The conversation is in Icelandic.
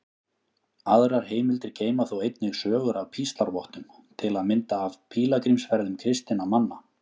Aðrar heimildir geyma þó einnig sögur af píslarvottum, til að mynda af pílagrímsferðum kristinna manna.